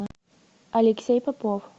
алексей попов